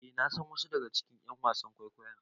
Eh nasan wasu daga cikin ƴan wasan kwaikwayon